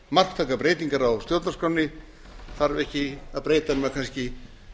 marktækar breytingar á stjórnarskránni þarf ekki að breyta nema kannski